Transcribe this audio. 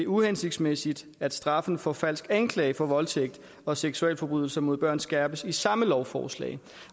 uhensigtsmæssigt at straffen for falsk anklage for voldtægt og seksualforbrydelser mod børn skærpes i samme lovforslag